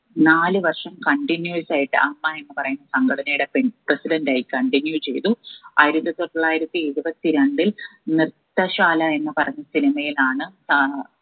നാല് വർഷം continuos ആയിട്ട് അമ്മ എന്ന് പറയുന്ന സംഘടനയുടെ പിൻ president ആയി continue ചെയ്തു ആയിരത്തി തൊള്ളായിരത്തി എഴുപത്തി രണ്ടിൽ നൃത്ത ശാല എന്ന് പറഞ്ഞ cinema യിലാണ് ആഹ്